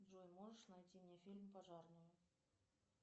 джой можешь найти мне фильм пожарную